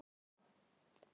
Núna, já.